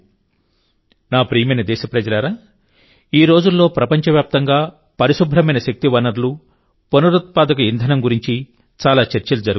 నా ప్రియమైన దేశప్రజలారాఈ రోజుల్లో ప్రపంచవ్యాప్తంగా పరిశుభ్రమైన శక్తి వనరులు పునరుత్పాదక ఇంధనం గురించి చాలా చర్చలు జరుగుతున్నాయి